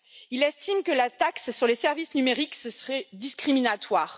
Il estime que la taxe sur les services numériques serait discriminatoire.